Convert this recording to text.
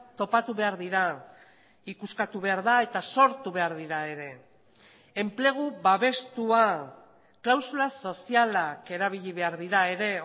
topatu behar dira ikuskatu behar da eta sortu behar dira ere enplegu babestua klausula sozialak erabili behar dira ere